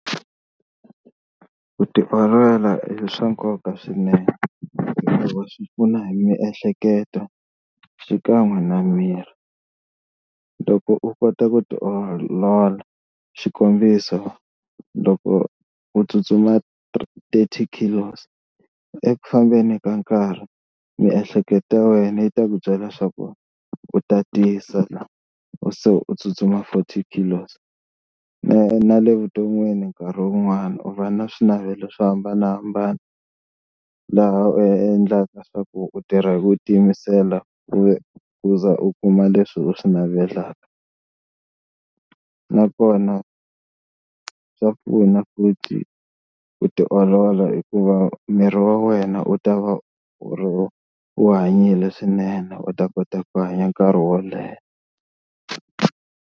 Ku tiolola i swa nkoka swinene swi pfuna hi miehleketo xikan'we na miri, loko u kota ku tiolola xikombiso loko u tsutsuma thirty kilos eku fambeni ka nkarhi miehleketo ya wena yi ta ku byela leswaku u tatisa u se u tsutsuma forty kilos. Na le vuton'wini nkarhi wun'wani u va na swinavelo swo hambanahambana laha u endlaka swa ku u tirha hi ku tiyimisela u ze u za u kuma leswi u swi navelaka. Nakona swa pfuna ku ti tiolola hikuva miri wa wena u ta va u hanyile swinene u ta kota ku hanya nkarhi wo leha.